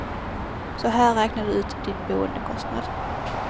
Så här räknar du ut din boendekostnad.